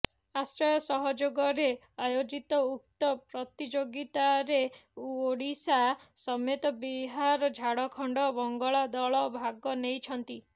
ଆଶ୍ରୟ ସହଯୋଗରେ ଆୟୋଜିତ ଉକ୍ତ ପ୍ରତିଯୋଗିତାରେ ଓଡ଼ିଶା ସମେତ ବିହାର ଝାଡଖଣ୍ଡ ବଙ୍ଗଳା ଦଳ ଭାଗ ନେଇଛନ୍ତି